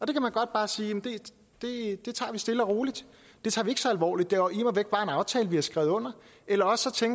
kan man godt bare sige det tager vi stille og roligt det tager vi ikke så alvorligt det er immer væk bare en aftale vi har skrevet under eller også